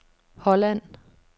Holland